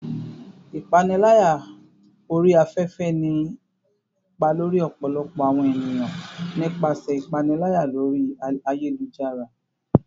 Ipanilaya ori afefe ni ipa lori ọpọlọpọ awọn eniyan nipasẹ ipanilaya lori ayelujara